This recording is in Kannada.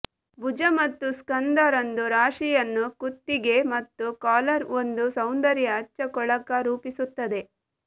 ಭುಜ ಮತ್ತು ಸ್ಕಂದ ರಂದು ರಾಶಿಯನ್ನು ಕುತ್ತಿಗೆ ಮತ್ತು ಕಾಲರ್ ಒಂದು ಸೌಂದರ್ಯ ಹಚ್ಚ ಕೊಳಕ ರೂಪಿಸುತ್ತದೆ